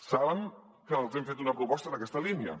saben que els hem fet una proposta en aquesta línia